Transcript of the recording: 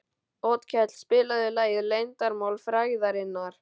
Otkell, spilaðu lagið „Leyndarmál frægðarinnar“.